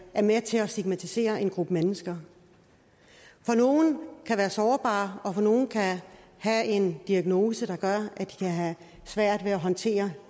er med til at stigmatisere en gruppe mennesker for nogle kan være sårbare og nogle kan have en diagnose der gør at de kan have svært ved at håndtere